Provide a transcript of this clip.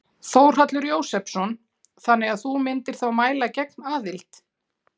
Þórhallur Jósefsson: Þannig að þú myndir þá mæla gegn aðild?